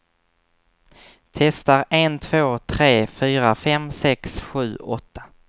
Testar en två tre fyra fem sex sju åtta.